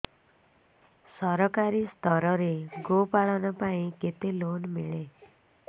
ସରକାରୀ ସ୍ତରରେ ଗୋ ପାଳନ ପାଇଁ କେତେ ଲୋନ୍ ମିଳେ